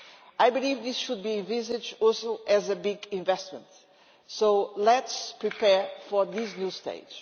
I believe this should be envisaged also as a big investment, so let us prepare for this new stage.